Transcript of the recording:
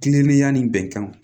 Kilennenya ni bɛnkanw